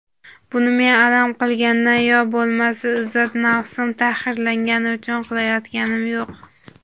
buni men alam qilgandan yo bo‘lmasa izzat-nafsim tahqirlangani uchun qilayotganim yo‘q.